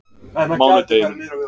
mánudeginum